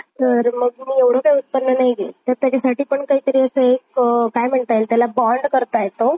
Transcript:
चालेल चालेल